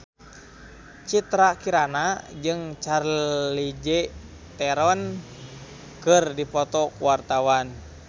Citra Kirana jeung Charlize Theron keur dipoto ku wartawan